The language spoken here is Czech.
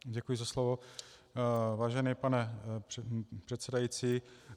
Děkuji za slovo, vážený pane předsedající.